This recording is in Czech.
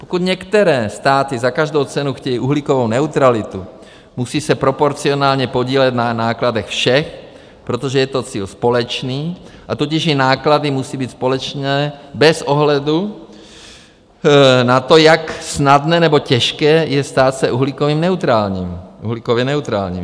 Pokud některé státy za každou cenu chtějí uhlíkovou neutralitu, musí se proporcionálně podílet na nákladech všech, protože je to cíl společný, a tudíž i náklady musí být společné bez ohledu na to, jak snadné nebo těžké je stát se uhlíkově neutrálním.